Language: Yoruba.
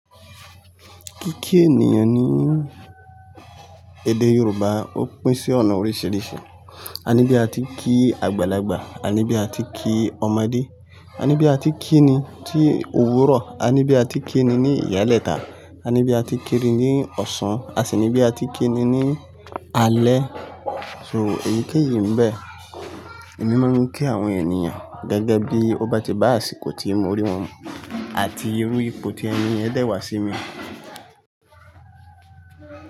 Kíkí ènìyàn ní èdè Yorùbá ó pín sí ọ̀nà oríṣiríṣi. A ní bí a ti ń kí àgbàlagbà, a ní bí a ti ń kí ọmọdé, a ní bí a ti ń kínni tí òwúrọ̀, a ní bí a ti ń kínni ní ìyálẹ̀ta, a ní bí a ti ń kínni ní ọ̀sán, a sì ní bí a ti ń kínni ní alẹ́. So èyíkéyìí ń bẹ, èmi máa ń kí àwọn ènìyàn gẹ́gẹ́ bí ó bá ti bá àṣìkò tí mo rí wọn àti irú ipò tí ẹni yẹn dẹ̀ wá sí mi.